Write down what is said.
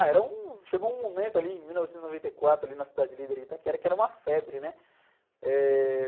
Ah, era um... Chegou um momento ali em mil novecentos e noventa e quatro, ali na Cidade Líder Itaquera, que era uma febre, né? Eh...